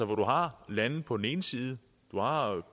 hvor du har landet på den ene side og